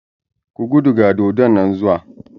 Ku gudu ga dodon nan zuwa!